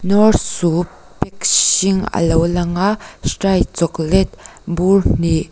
knorr soup hring a lo lang a strike chocolate bur hnih--